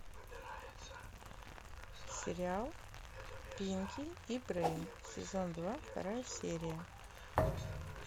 сериал пинки и брейн сезон два вторая серия